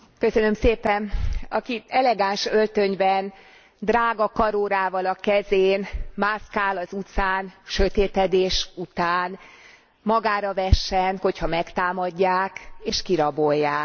Elnök asszony, aki elegáns öltönyben, drága karórával a kezén mászkál az utcán sötétedés után, magára vessen, hogyha megtámadják és kirabolják.